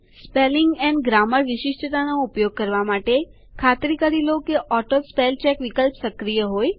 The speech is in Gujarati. સ્પેલિંગ એન્ડ ગ્રામર વિશિષ્ટતાનો ઉપયોગ કરવા માટે ખાતરી કરી લો કે ઓટોસ્પેલચેક વિકલ્પ સક્રિય હોય